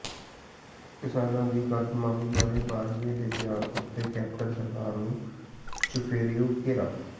ਕਿਸਾਨਾਂ ਦੀ ਕਰਜ਼ ਮੁਆਫ਼ੀ ਬਾਰੇ ਬਾਜਵਾ ਦੇ ਬਿਆਨ ਉਤੇ ਕੈਪਟਨ ਸਰਕਾਰ ਨੂੰ ਚੁਫੇਰਿਓਂ ਘੇਰਾ